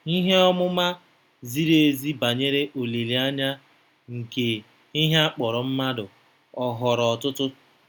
Ihe ọmụma ziri ezi banyere olileanya nke ihe a kpọrọ mmadụ ọ ghọrọ ọtụtụ?